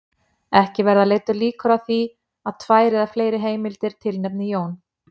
Ekki verða leiddar líkur að því að tvær eða fleiri heimildir tilnefni Jón